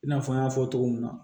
I n'a fɔ n y'a fɔ cogo min na